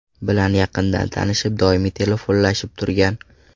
bilan yaqindan tanishib, doimiy telefonlashib turgan.